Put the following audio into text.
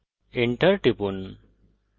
enter টিপুন